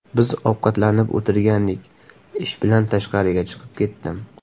Biz ovqatlanib o‘tirgandik, ish bilan tashqariga chiqib ketdim.